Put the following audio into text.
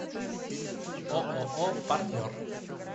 ооо партнер